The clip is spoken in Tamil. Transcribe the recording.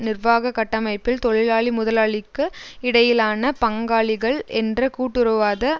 நிர்வாக கட்டமைப்பில் தொழிலாளிமுதலாளிக்கு இடையிலான பங்காளிகள் என்ற கூட்டுறவுவாத